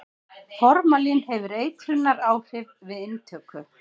Formalín hefur eitrunaráhrif við inntöku.